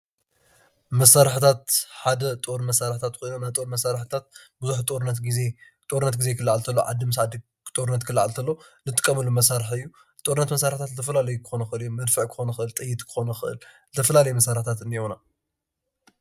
መሳርሕታት ሓደ ጦር መሳርሕታት ኮይኖም ናይ ጦር መሳርሕታት ብዙሕ ጦርነት ጊዜ ክላዓል ተሎ ዓዲ ምስ ዓዲ ጦርነት ክላዓል ተሎ ዝጥቀምሉ ዓይነት መሳርሒ እዩ፡፡ ጦርነት መሳርሕታት ዝተፈላለዩ ክኾኑ ይኽእሉ እዮም፡፡ መድፍዕ ክኾን ይኽእል ጥይት ክኾን ይኽእል ዝተፈላለዩ መሳርሕታት እኒአውና።